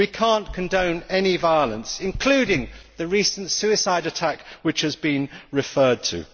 We cannot condone any violence, including the recent suicide attack which has been referred to.